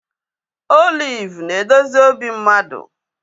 Oliv na-edozi obi mmadụ